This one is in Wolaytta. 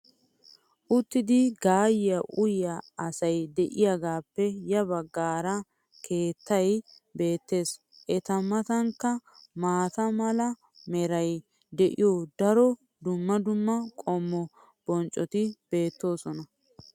uttidi gaayiya uyyiya asay diyaagaappe ya bagaara keettay beetees. Eta matankka maata mala meray de'iyo daro dumma dumma qommo bonccoti beetoosona.